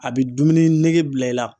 A bɛ dumuni nege bila i la.